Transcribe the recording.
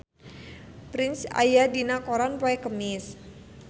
Prince aya dina koran poe Kemis